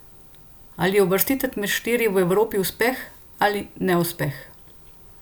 Ali je uvrstitev med štiri v Evropi uspeh ali neuspeh?